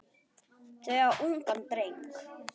Þau eiga ungan dreng.